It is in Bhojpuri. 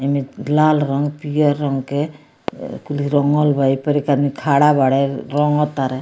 एमें लाल रंग पियर रंग के कुल्हि रंगल बा ये पर एक आदमी खाड़ा बाड़े रंग तारें।